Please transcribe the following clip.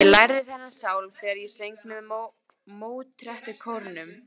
Ég lærði þennan sálm þegar ég söng með Mótettukórnum.